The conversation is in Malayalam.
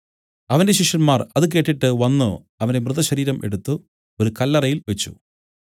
അവന്റെ ശിഷ്യന്മാർ അത് കേട്ടിട്ട് വന്നു അവന്റെ മൃതശരീരം എടുത്തു ഒരു കല്ലറയിൽ വെച്ച്